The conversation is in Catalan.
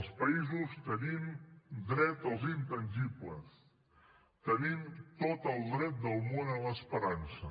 els països tenim dret als intangibles tenim tot el dret del món a l’esperança